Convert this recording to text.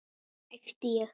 æpti ég.